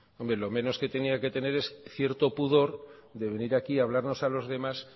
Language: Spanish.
hombre lo menos que tendría que tener es cierto pudor de venir aquí a hablarnos a los demás